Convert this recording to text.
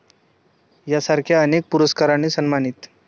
यांसारख्या अनेक पुरस्काराने सन्मानित.